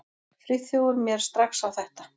Friðþjófur mér strax á þetta.